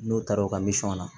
N'o taara o ka misɔn na